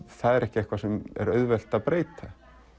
það er ekki eitthvað sem er auðvelt að breyta